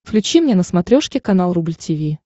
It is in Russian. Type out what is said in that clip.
включи мне на смотрешке канал рубль ти ви